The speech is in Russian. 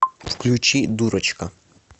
включи дурочка